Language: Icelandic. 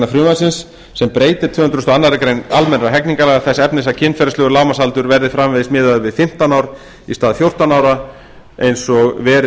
frumvarpsins sem breytir tvö hundruð og aðra grein almennra hegningarlaga þess efnis að kynferðislegur lágmarksaldur verði framvegis miðaður við fimmtán ár í stað fjórtán ár eins og verið